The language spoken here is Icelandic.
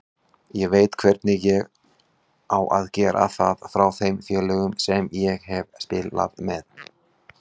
Ég veit hvernig á að gera það frá þeim félögum sem ég hef spilað með.